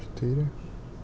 четыре